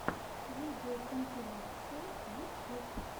видеокомпиляции ютьюб